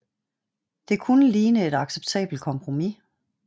Det kunne ligne et acceptabelt kompromis